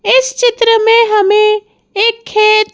इस चित्र में हमें एक खेत--